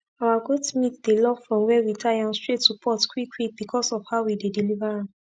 our goat meat dey love from were we tie am straight to pot quick quick becos of how we dey deliver am